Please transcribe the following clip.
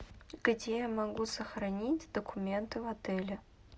где я могу сохранить документы в отеле